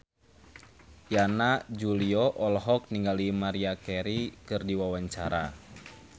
Yana Julio olohok ningali Maria Carey keur diwawancara